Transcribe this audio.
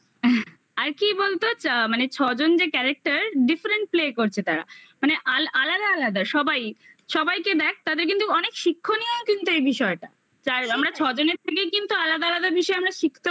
আর কি বলতো মানে ছজন যে character different play করছে তারা মানে মানে আলাদা আলাদা সবাই সবাইকে দেখ তাদের কিন্তু অনেক শিক্ষণীয়ও কিন্তু এই বিষয়টা চার আমরা ছজনের থেকে কিন্তু আলাদা আলাদা বিষয় আমরা শিখতেও